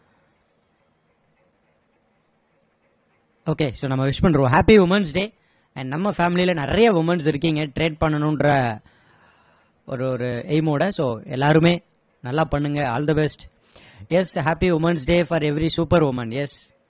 okay so நம்ம wish பண்ணிடுவோம் happy women's day and நம்ம family ல நிறைய womens இருக்கீங்க trade பண்ணணுன்ற ஒரு ஒரு aim ஓட so எல்லாருமே நல்லா பண்ணுங்க all the best yes happy women's day for every super women yes